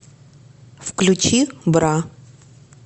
включи бра